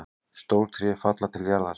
Stór tré falla til jarðar.